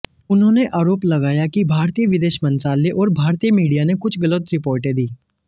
उन्होंने आरोप लगाया कि भारतीय विदेश मंत्रालय और भारतीय मीडिया ने कुछ गलत रिपोर्टें दीं